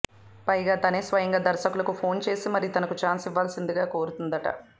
పైగా తానే స్వయంగా దర్శకులకు ఫోన్ చేసి మరి తనకు ఛాన్స్ ఇవ్వాల్సిందిగా కోరుతుందట